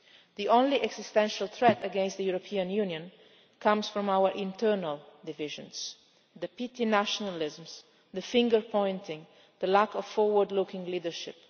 borders. The only existential threat against the European Union comes from our internal divisions, the petty nationalisms, the finger pointing and the lack of forward looking leadership.